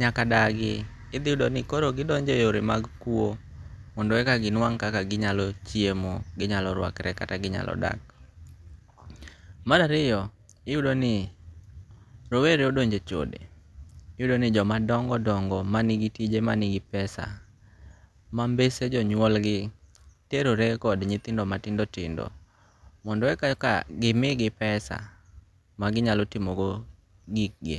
nyaka dagi ithiyudo ni koro gidonje e yore mag kuo mondo eka ginwang' ekagi nyalo chiemo, ginyalo rwakre kata ginyalo dak. Marariyo iyudo ni rowere odonje e chode iyudo ni joma dongo' dongo' manigi tije manigi pesa ma mbese jo nyuolgi terore kod nyithindo matindo tindo, mondo eka eka gimigi pesa maginyalo timogo gikgi,